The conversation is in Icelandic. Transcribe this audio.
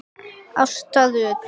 Ásta Rut.